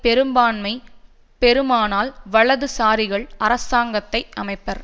பெரும்பான்மை பெறுமானால் வலதுசாரிகள் அரசாங்கத்தை அமைப்பர்